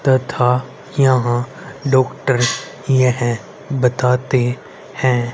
तथा यहां डॉक्टर यह बताते हैं।